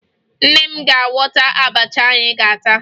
Nne m ga-agwọta abacha anyị ga-ata